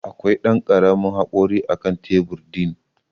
Akwai Dan karamin hakori akan tebur din.